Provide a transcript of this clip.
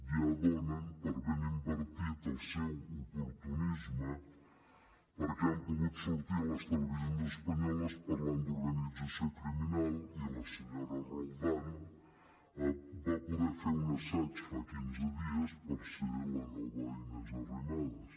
ja donen per ben invertit el seu oportunisme perquè han pogut sortir a les televisions espanyoles parlant d’organització criminal i la senyora roldán va poder fer un assaig fa quinze dies per ser la nova inés arrimadas